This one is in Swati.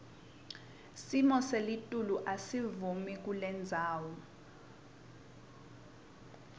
simoselitulu asivumi kulendzawo